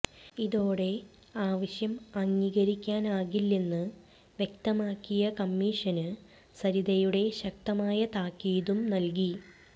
ഇതോടെ ആവശ്യം അംഗീകരിക്കാനാകില്ലെന്ന് വ്യക്തമാക്കിയ കമ്മിഷന് സരിതയുടെ ശക്തമായ താക്കീതും നല്കി